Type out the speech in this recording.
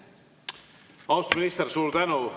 Austatud minister, suur tänu!